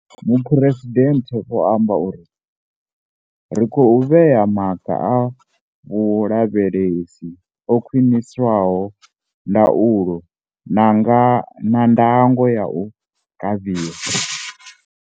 Muphuresidennde vho amba uri, ri khou vhea maga a vhulavhelesi o khwiniswaho, ndaulo na ndango ya u kavhiwa.